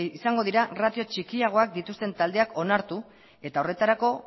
izango dira ratio txikiagoak dituzten taldeak onartu eta horretarako